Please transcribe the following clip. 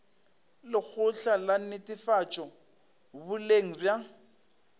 lekgotla la netefatšo boleng bja